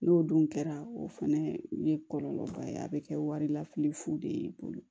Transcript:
N'o dun kɛra o fɛnɛ ye kɔlɔlɔba ye a bɛ kɛ wari lafili fu de ye i bolo